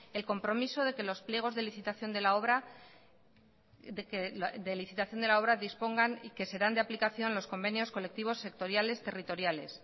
el compromiso de que los pliegos de licitación de la obra dispongan y serán de aplicación los convenios colectivos sectoriales territoriales